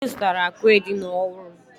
Anyị zụtara àkwà edina ọhụrụ.